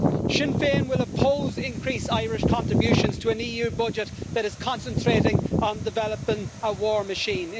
Sinn Féin will oppose increased Irish contributions to an EU budget that is concentrating on developing a war machine.